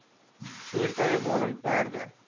voertuie waarin perde